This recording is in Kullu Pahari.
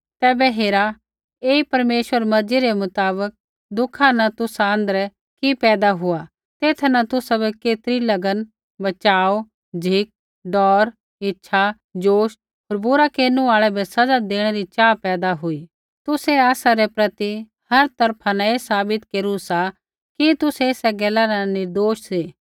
तैबै हेरा ऐई परमेश्वरा री मर्जी रै मुताबक दुःखा न तुसा आँध्रै कि पैदा हुआ तेथा न तुसाबै केतरी लगन बचाव झ़िक डौर इच्छा ज़ोश होर बुरा केरनु आल़ै बै सज़ा देणै री चाहा पैदा हुई तुसै आसा रै प्रति हर तरफा न ऐ साबित केरू सा कि तुसै एसा गैला न निर्दोष सी